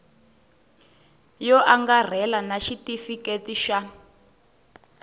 yo angarhela na xitifiketi xa